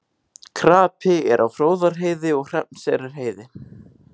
Krapi er á Fróðárheiði og Hrafnseyrarheiði